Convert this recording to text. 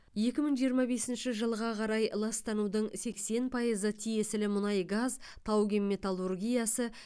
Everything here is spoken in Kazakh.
екі мың жиырма бесінші жылға қарай ластанудың сексен пайызы тиесілі мұнай газ тау кен металлургиясы